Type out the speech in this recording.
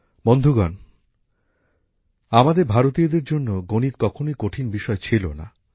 বন্ধুগণ আমাদের ভারতীয়দের জন্য গণিত কখনই কঠিন বিষয় ছিল না